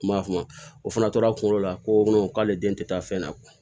N m'a faamu o fana tora a kunkolo la ko k'ale den tɛ taa fɛn na